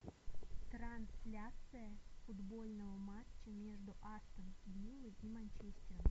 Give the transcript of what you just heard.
трансляция футбольного матча между астон виллой и манчестером